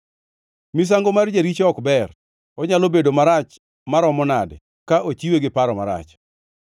Misango mar jaricho ok ber, onyalo bedo marach maromo nade ka ochiwe gi paro marach!